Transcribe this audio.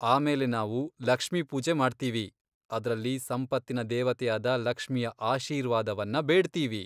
ಆಮೇಲೆ ನಾವು 'ಲಕ್ಷ್ಮಿ ಪೂಜೆ' ಮಾಡ್ತೀವಿ, ಅದ್ರಲ್ಲಿ ಸಂಪತ್ತಿನ ದೇವತೆಯಾದ ಲಕ್ಷ್ಮಿಯ ಆಶೀರ್ವಾದವನ್ನ ಬೇಡ್ತೀವಿ.